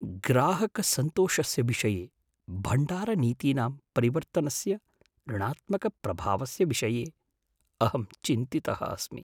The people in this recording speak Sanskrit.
ग्राहकसन्तोषस्य विषये भण्डारनीतीनां परिवर्तनस्य ऋणात्मकप्रभावस्य विषये अहं चिन्तितः अस्मि।